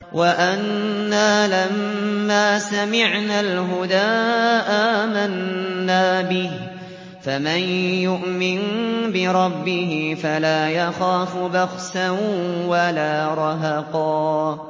وَأَنَّا لَمَّا سَمِعْنَا الْهُدَىٰ آمَنَّا بِهِ ۖ فَمَن يُؤْمِن بِرَبِّهِ فَلَا يَخَافُ بَخْسًا وَلَا رَهَقًا